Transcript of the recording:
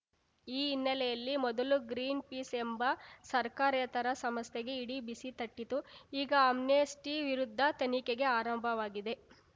ಈ ಹಿನ್ನೆಲೆಯಲ್ಲಿ ಮೊದಲು ಗ್ರೀನ್‌ಪೀಸ್‌ ಎಂಬ ಸರ್ಕಾರೇತರ ಸಂಸ್ಥೆಗೆ ಇಡಿ ಬಿಸಿ ತಟ್ಟಿತು ಈಗ ಆಮ್ನೆಸ್ಟಿವಿರುದ್ಧ ತನಿಖೆ ಆರಂಭವಾಗಿದೆ